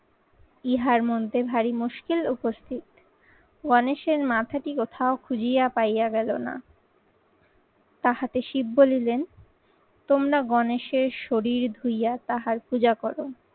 ইহার মানতে ভারী মশকিল উপস্থিত গণেশের মাথাটি কোথাও খুঁজিয়া পাইয়া গেলো না। তাহাতে শিব বলিলেন তোমরা গণেশের শরীর ধুইয়া তাহার পূজা করো।